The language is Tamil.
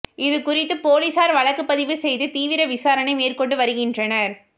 இது குறித்து போலீசார் வழக்கு பதிவு செய்து தீவிர விசாரணை மேற்கொண்டு வருகின்றனர்